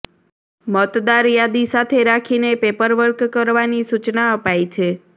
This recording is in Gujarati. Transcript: મતદાર યાદી સાથે રાખીને પેપર વર્ક કરવાની સૂચના અપાઇ છે